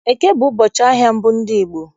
Eke bụ ụbọchị ahịa mbụ ndị Igbo.